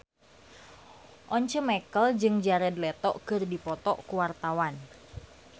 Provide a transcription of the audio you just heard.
Once Mekel jeung Jared Leto keur dipoto ku wartawan